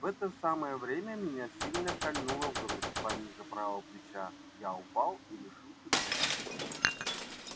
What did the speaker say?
в это самое время меня сильно кольнуло в грудь пониже правого плеча я упал и лишился чувств